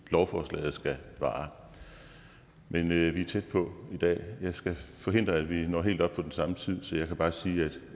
lovforslaget skal vare men vi er tæt på i dag jeg skal forhindre at vi når helt op på den samme tid så jeg kan bare sige